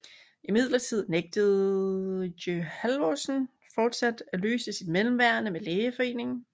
Imidlertid nægtede geHalvorsen fortsat løse sit mellemværende med lægeforeningen